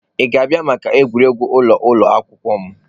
Ị ga-abịa maka egwuregwu ụlọ ụlọ akwụkwọ m?